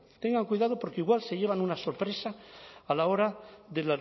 tengan cuidado porque igual se llevan una sorpresa a la hora de